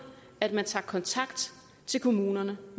at man tager kontakt til kommunerne